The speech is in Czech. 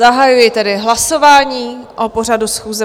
Zahajuji tedy hlasování o pořadu schůze.